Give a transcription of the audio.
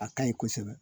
A kaɲi kosɛbɛ